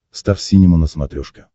стар синема на смотрешке